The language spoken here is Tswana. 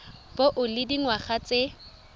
bo o le dingwaga tse